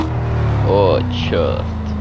о чёрт